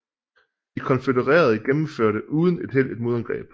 De konfødererede gennemførte uden held et modangreb